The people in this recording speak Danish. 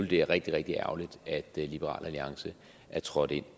det er rigtig rigtig ærgerligt at liberal alliance er trådt ind